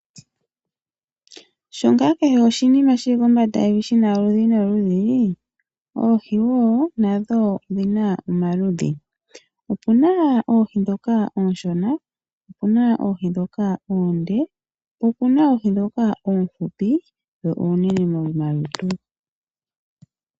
Sho ngaa kehe oshinima shi li kombanda yevi shina oludhi noludhi oohi wo nadho odhina omaludhi . Opuna oohi ndhoka oonshona, opuna oohi ndhoka oonde, po opuna oohi ndhoka oohupi dho oonene momalutu.